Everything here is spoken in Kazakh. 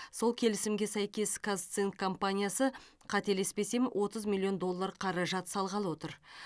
сол келісімге сәйкес казцинк компаниясы қателеспесем отыз миллион доллар қаражат салғалы отыр